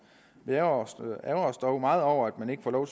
vi ærgrer os dog meget over at man ikke får lov